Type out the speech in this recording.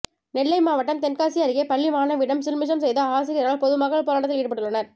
நெல்லை மாவட்டம் தென்காசி அருகே பள்ளி மாணவியிடம் சில்மிஷம் செய்த ஆசிரியரால் பொதுமக்கள் போராட்டத்தில் ஈடுபட்டுள்ளனர்